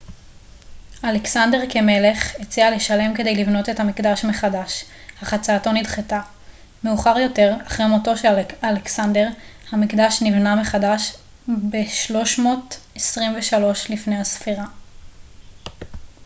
אלכסנדר כמלך הציע לשלם כדי לבנות את המקדש מחדש אך הצעתו נדחתה מאוחר יותר אחרי מותו של אלכסנדר המקדש נבנה מחדש ב-323 לפנה ס